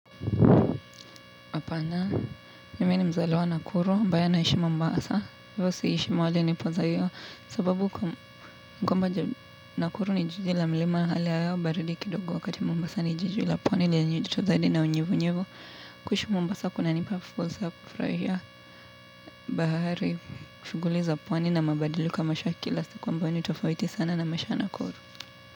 Apana, mimi ni mzaliwa Nakuru ambaye anaishi mombasa. Hivyo siishi mahali nilipo zaliwa. Sababu, mkomba Nakuru ni jiji la mlima hali hayao baridi kidogo wakati mmbasa ni jiji la pwani li ya njiju tuzaidi na unyevu nyevu. Kushi mombasa kuna nipa fursa ya kufurahia bahari, shughuli za pwani na mabadiliko ya maisha ya kila siku ambayo ni tofauti sana na maisha ya Nakuru.